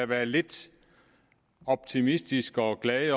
være lidt optimistisk og glad